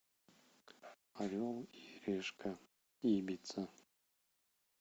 орел и решка ибица